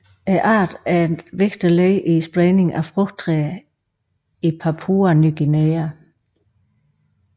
Arten er et vigtigt led i spredningen af frugttræer i Papua Ny Guinea